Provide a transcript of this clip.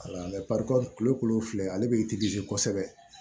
kulo kolo filɛ ale bɛ kosɛbɛ